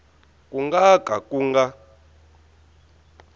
ku nga ka ku nga